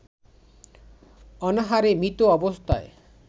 অনাহারে মৃত অবস্থায়